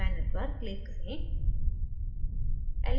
panel पर click करें